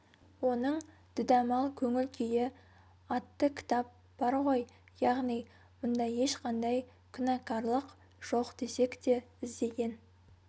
оның дүдәмал көңіл күйі атты кітап бар ғой яғни мұнда ешқандай күнәкарлық жоқ десек те іздеген